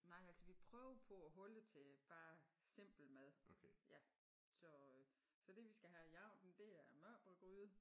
Nej altså vi prøver på at holde til bare simpel mad ja så så det vi skal have i aften det er mørbradgryde